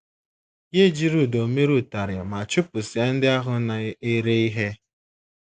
Ya ejiri ụdọ mere ụtarị ma chụpụsịa ndị ahụ na - ere ihe.